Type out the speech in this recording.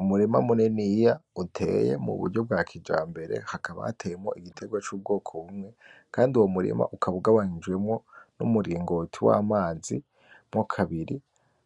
Umurima muniniya uteye muburyo bwa kijambere hakaba hateyemwo igiterwa cubwoko bumwe kandi uwo murima ukaba ugabanijwemwo n,umuringoti w,amazi mwo kabiri